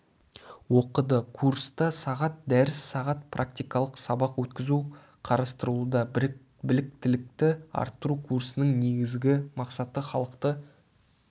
оқыды курста сағат дәріс сағат практикалық сабақ өткізу қарастырылуда біліктілікті арттыру курсының негізгі мақсаты халықты